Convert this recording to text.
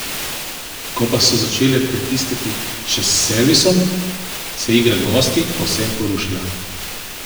Ko pa so začele pritiskati še s servisom, se je igra gostij povsem porušila.